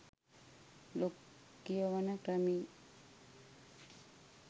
blog කියවන ක්‍රමේ